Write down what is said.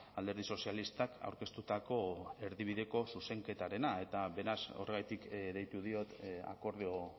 alderdi sozialistak aurkeztutako erdibideko zuzenketarena eta beraz horregatik deitu diot akordio